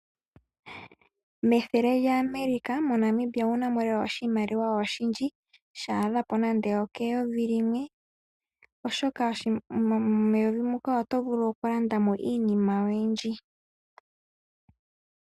Methele lya American mo Namibia owu namo oshimaliwa oshindji sha adha nande oke yovi limwe oshoka meyovi muka oto vulu oku landa mo iinima oyindji.